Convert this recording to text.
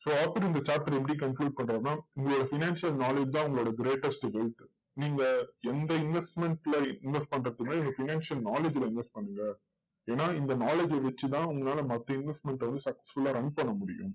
so author இந்த chapter எப்படி conclude பண்றாருன்னா உங்களுடைய financial knowledge தான் உங்களோட greatest wealth நீங்க எந்த investment ல invest பண்றதுக்குமே financial knowledge ல invest பண்ணுங்க. ஏன்னா இந்த knowledge வச்சு தான் உங்களால மத்த investment அ வந்து successfull ஆ run பண்ண முடியும்